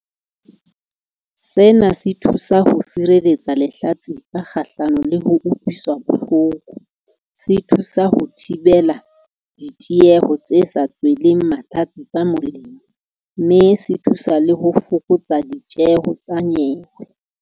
Sena se thusa ho sireletsa lehlatsipa kgahlano le ho utlwiswa bohloko, se thusa ho thibela ditieho tse sa tsweleng mahlatsipa molemo, mme se thuse le ho fokotsa ditjeho tsa nyewe.